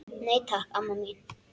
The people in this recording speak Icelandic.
Nei, takk, amma mín.